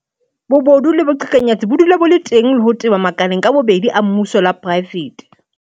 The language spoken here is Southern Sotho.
Bobodu le boqhekanyetsi bo dula bo le teng le ho teba makaleng ka bobedi a mmuso le a poraefete.